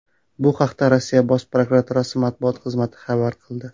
Bu haqda Rossiya Bosh prokuraturasi matbuot xizmati xabar qildi.